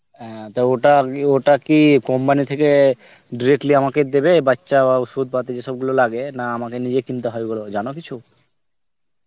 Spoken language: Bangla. অ্যাঁ তা ওটা আরকি ওটা কি company থেকে directly আমাকে দেবে বাচ্চা বা ওষুধপাতি যেসবগুলো লাগে, না আমাকে নিজে কিনতে হয় ওগুলো, জানো কিছু?